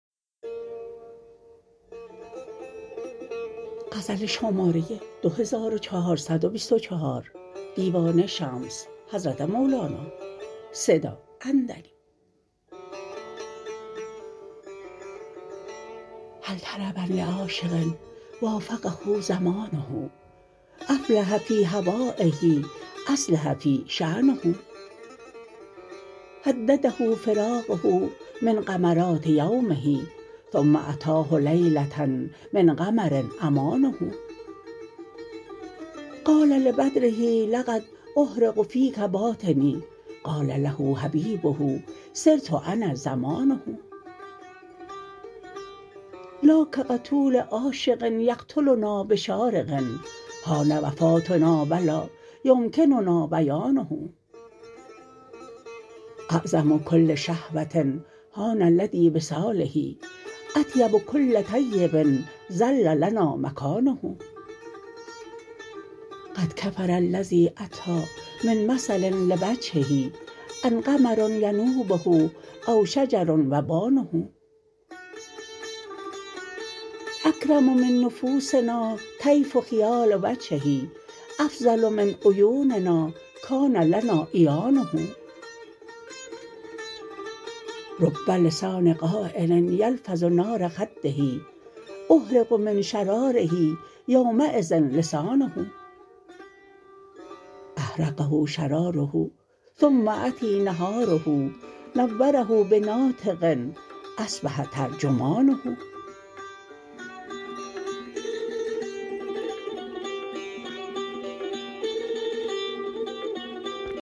هل طربا لعاشق وافقه زمانه افلح فی هوایه اصلح فیه شأنه هدده فراقه من غمرات یومه ثم اتاه لیله من قمر امانه قال لبدره لقد احرق فیک باطنی قال له حبیبه صرت انا ضمانه لا کقتول عاشق یقتلنا بشارق حان وفاتنا و لا یمکننا بیانه اعظم کل شهوه هان لدی وصاله اطیب کل طیب ظل لنا مکانه قد کفر الذی اتی من مثل لوجهه ان قمر ینوبه او شجر وبانه اکرم من نفوسنا طیف خیال وجهه افضل من عیوننا کان لنا عیانه رب لسان قایل یلفظ نار خده احرق من شراره یومیذ لسانه احرقه شراره ثم اتی نهاره نوره بناطق اصبح ترجمانه